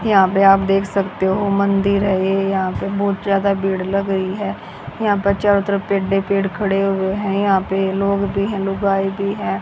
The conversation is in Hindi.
यहां पर आप देख सकते हो मंदिर है। यहां पर बहोत ज्यादा भीड़ लग रही है। यहां पर चारों तरफ पेड पेड खड़े हुए हैं। यहां पर लोग भी हैं। लोग आए भी है।